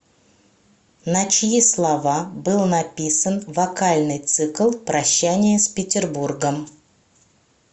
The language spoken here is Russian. на чьи слова был написан вокальный цикл прощание с петербургом